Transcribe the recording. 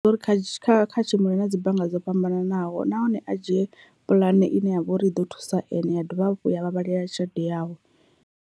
Ndi uri kha tshi kha tshimbila na dzi bannga dzo fhambananaho nahone a dzhie puḽane ine ya vha uri i ḓo thusa ane ya dovha hafhu ya vhavhalela tshelede yawe.